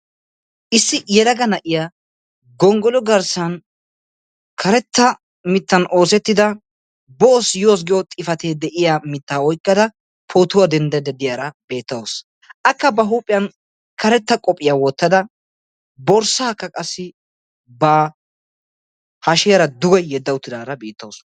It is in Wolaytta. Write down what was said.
Issi yelaga na"iyaa gonggolo garssan karetta mittan oosettida "boos yoos" giyo xifate de"iyaa mittaa oykkada pootuwaa denddaydda de"iyaara beettawus. Akka ba huuphiyan karetta qophiya wottada borssaakka qassi ba hashiyaara duge yedda uttidaara beettawusu.